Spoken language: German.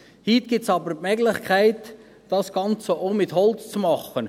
Heute gibt es aber die Möglichkeit, das Ganze auch mit Holz zu machen.